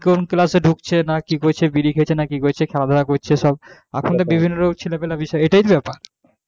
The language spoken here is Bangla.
কোন class এ ঢুকছে না কি করছে, বিড়ি খেয়েছে না কি করছে খেলাধুলা করছে সব এখন তো বিভিন্ন রকম ছেলে পিলের বিষয় এটাই তো ব্যাপার